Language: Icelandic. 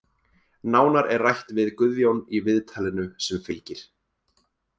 Nánar er rætt við Guðjón í viðtalinu sem fylgir.